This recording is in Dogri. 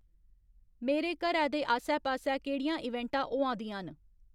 मेरे घरै दे आस्सै पास्सै केह्‌ड़ियां इवेंटां होआ दियां न